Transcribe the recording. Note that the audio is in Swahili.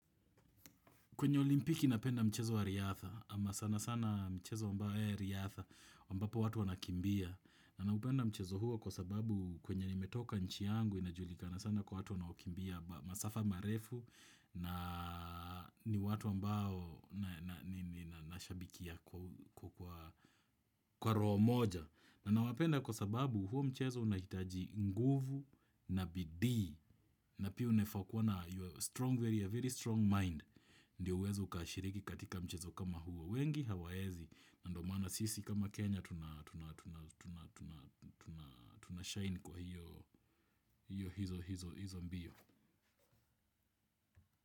Kwenye olimpiki napenda mchezo wa riatha, ama sana sana mchezo wa riatha, ambapo watu wanakimbia, na napenda mchezo huo kwa sababu kwenye nimetoka nchi yangu, inajulikana sana kwa watu wanakimbia, masafa marefu, na ni watu ambao nashabikia kwa roho moja. Na nawapenda kwa sababu huo mchezo unahitaji nguvu na bidiii, na pia unafaa kuwa na, a very strong mind. Ndio uweze ukashiriki katika mchezo kama huo wengi hawaezi. Na ndo maana sisi kama Kenya tunashine kwa hizo mbio.